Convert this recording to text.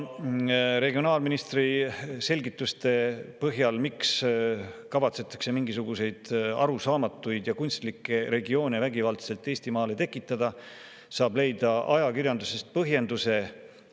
Regionaalministri selgitustele, miks kavatsetakse Eestis vägivaldselt mingisuguseid arusaamatuid ja kunstlikke regioone tekitada, saab leida ajakirjandusest põhjenduse.